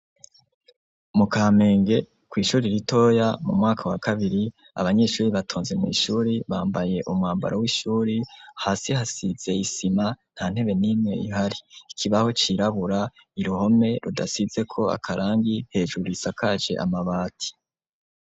Mu kamenge kwishure ritoya mumwaka wa kabiri abanyeshure batonze mwishure bambaye umwambaro w’ishure ,hasi hasize i sima ntantebe nimwe ihari ikibaho c’irabura uruhome rudasizeko akarangi ,hejuru isakaje amabati.